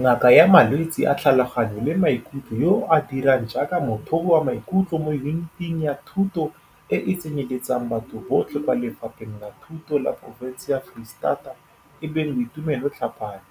Ngaka ya malwetse a tlhaloganyo le maikutlo yo a dirang jaaka mothobi wa maikutlo mo Yuniting ya Thuto e e Tsenyeletsang Batho Botlhe kwa Lefapheng la Thuto la porofense ya Foreistata e bong Boitumelo Tlhapane,